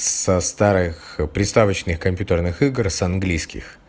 со старых приставочный компьютерных игр с английских